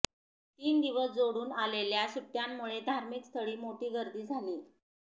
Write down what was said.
तीन दिवस जोडून आलेल्या सुट्ट्यांमुळे धार्मिक स्थळी मोठी गर्दी झालीय